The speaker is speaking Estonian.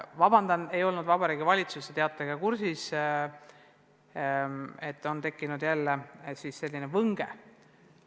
Vabandust, et ma ei olnud Vabariigi Valitsuse teatega kursis ja et jälle on tekkinud selline võnge.